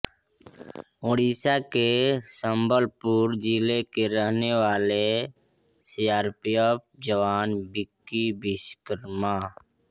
ओडिशा के संबलपुर जिले के रहने वाले सीआरपीएफ जवान विक्की विश्वकर्मा